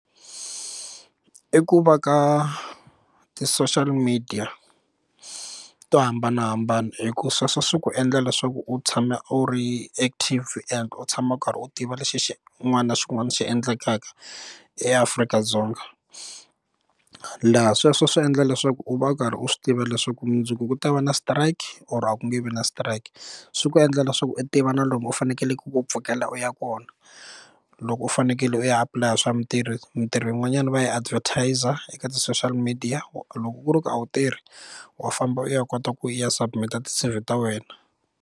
I ku va ka ti social media to hambanahambana hi ku sweswo swi ku endla leswaku u tshama u ri active and u tshama u karhi u tiva lexi xin'wana na xin'wana xi endlekaka eAfrika-Dzonga laha sweswo swi endla leswaku u va u karhi u swi tiva leswaku mundzuku ku ta va na strike or a ku nge vi na strike swi ku endla leswaku i tiva na lomu u fanekeleke u pfukela u ya kona loko u fanekele u ya apulaya swa mitirho mitirho yin'wanyana va yi advertiser eka ti social media loko ku ri ku a wu tirhi wa famba u ya kota ku ya submit-a ti-C_V ta wena.